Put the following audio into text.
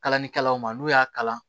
Kalalikɛlaw ma n'u y'a kalan